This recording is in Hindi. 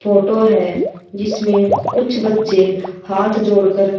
फोटो है जिसमें कुछ बच्चे हाथ जोड़कर--